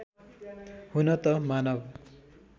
हुन त मानव